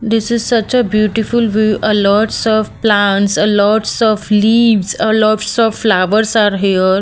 This is such a beautiful view a lots of plants a lots of leaves a lots of flowers are here.